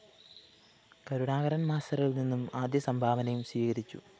കരുണാകരന്‍ മാസ്റ്ററില്‍ നിന്നും ആദ്യ സംഭാവനയും സ്വീകരിച്ചു